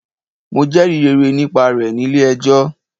Mo jẹrìí rere nípa rẹ̀ nílé ẹjọ́.